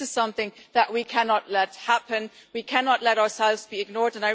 This is something that we cannot let happen. We cannot let ourselves be ignored.